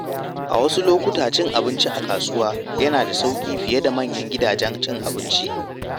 A wasu lokuta, cin abinci a kasuwa yana da sauƙi fiye da manyan gidajen cin abinci.